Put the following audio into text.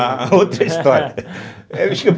Ah, outra história.